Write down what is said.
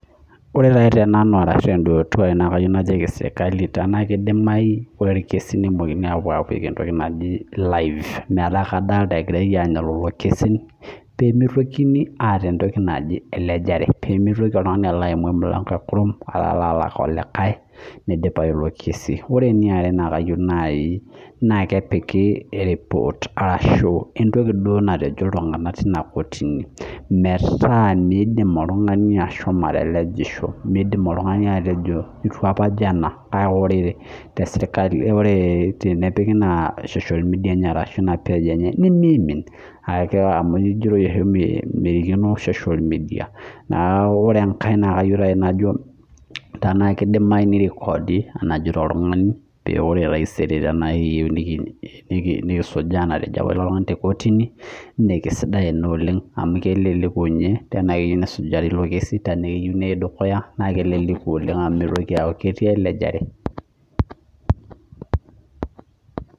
Ore nai tenanu nakeyieu najoki serkali tana kidimayu ore entoki naji irkesin nakeyieu nepuoi apik entoki naji live metaa kadolita egira anya elekesi pemitoki oltungani alo aimu emilango ekurum alo alak olaikae nidipayu iko kesi ore eniare na kayieu nai nakepiki eripot ashu entoki natejo ltunganak tinakotini meraa midim oltungani ashomo atelejisho midim oltungani ashomo atejo ituapa ajo nejua mimin kejitoi oshi ajo mikenoi social media nakeyieu najo tenakidumayu nirekodi enetejo ilo tunganu metaa ore taisere nikiyieu niyiolou enatejo apa ilo tungani tekotini na kesidai ina oleng na keleleku oleng amu mitoki aaku ketii elejare.